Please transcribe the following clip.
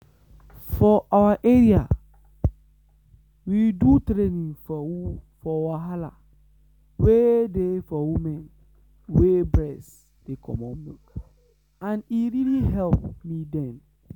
for our area we do training for wahala wey dey for women wey breast dey comot milk and e really help me then.